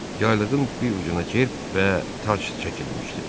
Yaylığın bir ucuna cerb və tac çəkilmişdi.